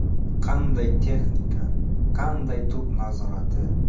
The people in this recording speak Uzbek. Qanday texnika, qanday to‘p nazorati!